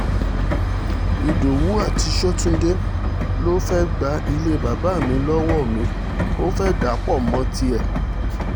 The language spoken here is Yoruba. ìdọ́wúrari sọ́túndé ló fẹ́ẹ́ gba ilé bàbá mi lọ́wọ́ mi ò fẹ́ẹ́ dà á pọ̀ mọ́ tiẹ̀